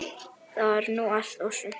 Það var nú allt og sumt.